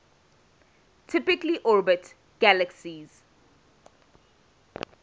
typically orbit galaxies